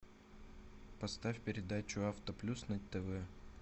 поставь передачу авто плюс на тв